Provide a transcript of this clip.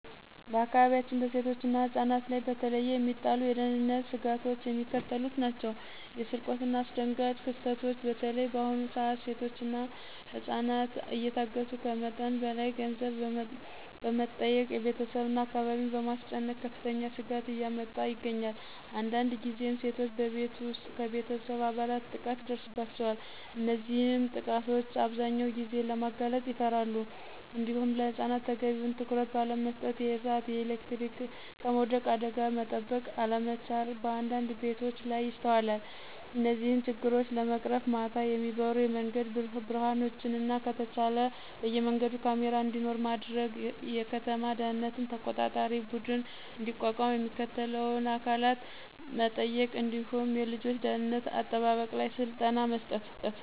በአካባቢያችን በሴቶችና ህፃናት ላይ በተለየ የሚጣሉ የደህንነት ስጋቶች የሚከተሉት ናቸው። የስርቆትናየአስደንጋጭ ክስተቶች (በተለይ በአሁኑ ሰዓት ሴቶችና ህፃናት እየታገቱ ከመጠን በላይ ገንዘብ በመጠየቅ ቤተሰብና አካባቢን በማስጨነቅ ከፍተኛ ስጋት እያመጣ ይገኛል። አንዳንድ ጊዜም ሴቶች በቤት ውስጥ ከቤተሰብ አባላት ጥቃት ይደርስባቸዋል። እነዚህንም ጥቃቶች አብዛኛውን ጊዜ ለማጋለጥ ይፈራሉ። እንዲሁም ለህፃናት ተገቢውን ትኩረት ባለመስጠት የእሳት፣ የኤሌክትሪክና ከመውደቅ አደጋ መጠበቅ አለመቻል በአንዳንድ ቤቶች ላይ ይስተዋላል። እነዚህን ችግሮች ለመቅረፍም ማታ የሚበሩ የመንገድ ብርሀኖችንና ከተቻለ በየመንገዱ ካሜራ እንዲኖር ማድረግ፣ የከተማ ደህንነት ተቆጣጣሪ ቡድን እንዲቋቋም የሚመለከተውን አካል መጠየቅ እንዲሁም የልጆች ደህንነት አጠባበቅ ላይ ስልጠና መስጠት